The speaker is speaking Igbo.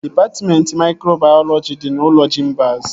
Dịpatmentị maikrobayọlọji dị n'ụlọ Jimbaz